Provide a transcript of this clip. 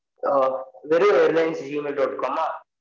ஆஹ் வெறும் airlinesgmail dot com ஆ?